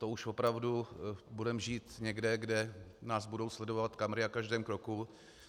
To už opravdu budeme žít někde, kde nás budou sledovat kamery na každém kroku.